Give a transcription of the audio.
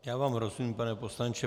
Já vám rozumím, pane poslanče.